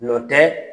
Nɔ tɛ